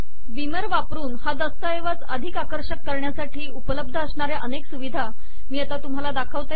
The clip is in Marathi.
बीमर वापरून हा दस्तऐवज अधिक आकर्षक करण्यासाठी उपलब्ध असणाऱ्या अनेक सुविधा मी आता तुम्हाला दाखवते